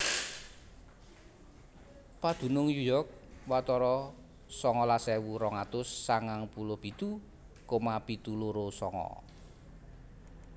Padunung New York watara songolas ewu rong atus sangang puluh pitu koma pitu loro sanga